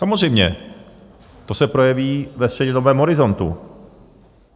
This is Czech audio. Samozřejmě, to se projeví ve střednědobém horizontu.